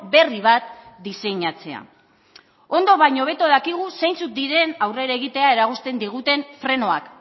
berri bat diseinatzea ondo baino hobeto dakigu zeintzuk diren aurrera egitea eragozten diguten frenoak